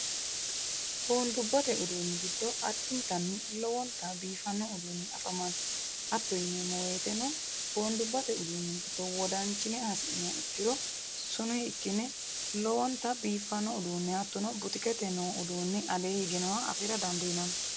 Boonidubatte udduni giddo addinitani lowwonittani biifano udduni afamano. Hatto yinnemo woyiteno boonidubatte udduni giddo wodanichine ha'siniha ikkiro sununi ikine lowwonittani biifano uddune hattono butukkete uduunei aleeni hige nooha afira danidinanni